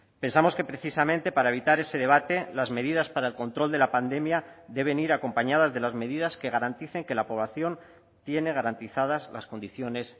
pensamos que precisamente para evitar ese debate las medidas para el control de la pandemia deben ir acompañadas de las medidas que garanticen que la población tiene garantizadas las condiciones